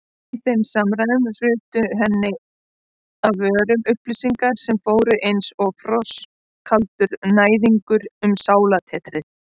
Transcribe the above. Í þeim samræðum hrutu henni af vörum upplýsingar sem fóru einsog frostkaldur næðingur um sálartetrið.